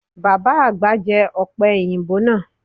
Baba agba jẹ ope oyinbo naa